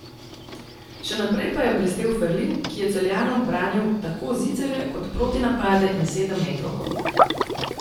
Še naprej pa je blestel Ferlin, ki je Celjanom branil tako zicerje kot protinapade in sedemmetrovko.